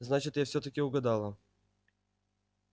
значит я всё-таки угадала